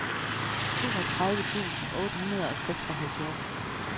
toogtredive tusind otte hundrede og seksoghalvfjerds